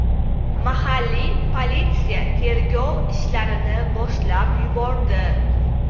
Mahalliy politsiya tergov ishlarini boshlab yubordi.